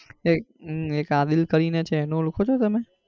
એક હમ એક આદીલ કરી ને છે એને ઓળખો છો તમે?